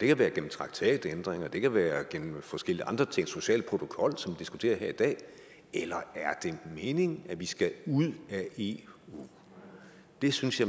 det kan være gennem traktatændringer det kan være gennem forskellige andre ting social protokol som vi diskuterer her i dag eller er det meningen at vi skal ud af eu det synes jeg